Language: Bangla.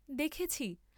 দেখেছি।